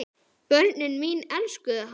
Börnin mín elskuðu hann.